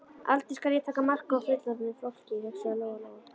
Aldrei skal ég taka mark á fullorðnu fólki, hugsaði Lóa-Lóa.